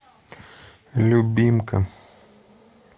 любимка